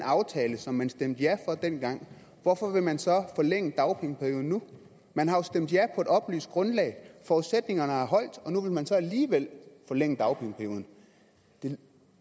aftale som man stemte ja for dengang hvorfor vil man så forlænge dagpengeperioden nu man har jo stemt ja på et oplyst grundlag forudsætningerne har holdt og nu vil man alligevel forlænge dagpengeperioden det